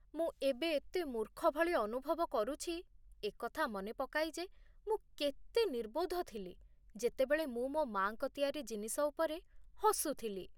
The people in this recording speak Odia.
ମୁଁ ଏବେ ଏତେ ମୂର୍ଖ ଭଳି ଅନୁଭବ କରୁଛି ଏ କଥା ମନେ ପକାଇ ଯେ ମୁଁ କେତେ ନିର୍ବୋଧ ଥିଲି ଯେତେବେଳେ ମୁଁ ମୋ ମା'ଙ୍କ ତିଆରି ଜିନିଷ ଉପରେ ହସୁଥିଲି।